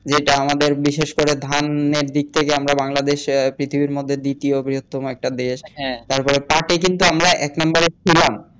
যেটা আমাদের বিশেষ করে ধানের দিক থেকে আমারা বাংলাদেশে পৃথিবীর মধ্যে আমরা দ্বিতীয় বৃহত্তম একটা দেশ তারপরে পাঠে কিন্তু আমরা এক নাম্বারে ছিলাম